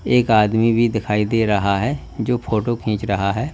एक आदमी भी दिखाई दे रहा है जो फोटो खींच रहा है।